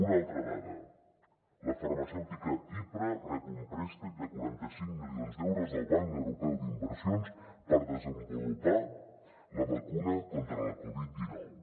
una altra dada la farmacèutica hipra rep un préstec de quaranta cinc milions d’euros del banc europeu d’inversions per desenvolupar la vacuna contra la covid dinou